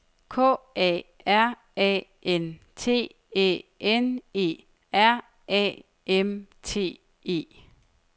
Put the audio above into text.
K A R A N T Æ N E R A M T E